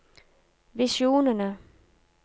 visjonene